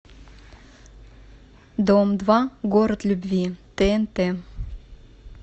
дом два город любви тнт